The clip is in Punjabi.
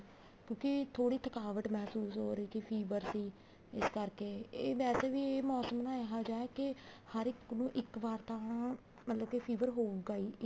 ਕਿਉਂਕਿ ਥੋੜੀ ਥਕਾਵਟ ਮਹਿਸੂਸ ਹੋ ਰਹੀ ਸੀ fever ਸੀ ਇਸ ਕਰਕੇ ਇਹ ਵੈਸੇ ਵੀ ਇਹ ਮੋਸਮ ਨਾ ਇਹਾ ਜਾ ਹੈ ਕੇ ਹਰ ਇੱਕ ਨੂੰ ਇੱਕ ਵਾ ਤਾਂ ਮਤਲਬ ਕੇ fever ਹੋਊਗਾ ਹੀ ਇੱਕ